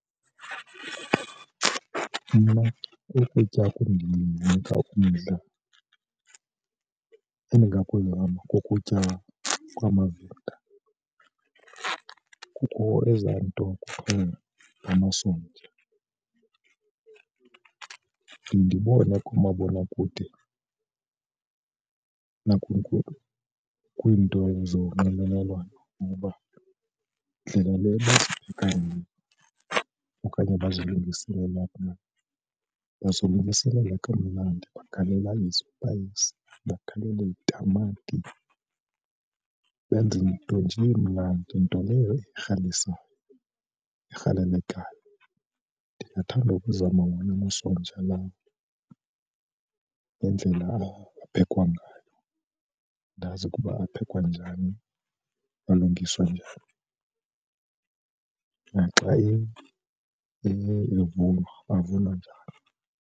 Mna ukutya kundinika umdla engakumbi kukutya kwamaVenda. Kukho ezaa nto kukhona ngamasonja ndibone kumabonakude kwiinto zonxibelelwano ukuba ndlelq le bathi kanye okanye bazilungiselela pha, bazilungiselela kamnandi bagalela izipayisi, bagalele itamati benze nto nje emnandi. Nto leyo erhalisayo erhalelekayo ndingathanda ukuzama wona amasonja lawo ngendlela aphekwa ngayo, ndazi ukuba aphekwa njani alungiswa njani. Naxa enye ivunwa avunwa njani.